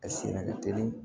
A siri ka teli